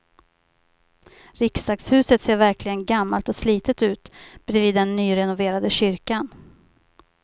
Riksdagshuset ser verkligen gammalt och slitet ut bredvid den nyrenoverade kyrkan.